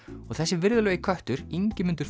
og þessi virðulegi köttur Ingimundur